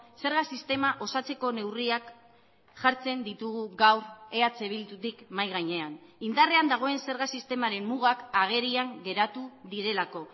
zerga sistema osatzeko neurriak jartzen ditugu gaur eh bildutik mahai gainean indarrean dagoen zerga sistemaren mugak agerian geratu direlako